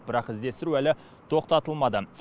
бірақ іздестіру әлі тоқтатылмады